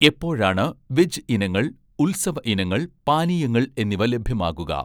എപ്പോഴാണ് വെജ് ഇനങ്ങൾ, ഉത്സവ ഇനങ്ങൾ, പാനീയങ്ങൾ എന്നിവ ലഭ്യമാകുക